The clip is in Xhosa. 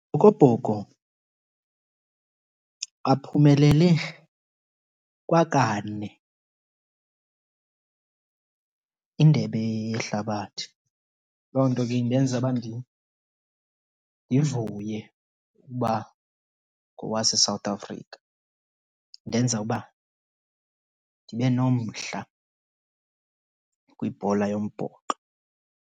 aphumelele kwakane iNdebe yeHlabathi. Loo nto ke indenza uba ndivuye uba ngowaseSouth Africa. Indenza uba ndibe nomdla kwibhola yombhoxo.